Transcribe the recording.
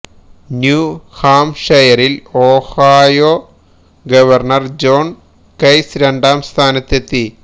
new ഹാം ഷെയറിൽ Ohio governor John കൈസ് രണ്ടാം സ്ഥാനത്തെത്തി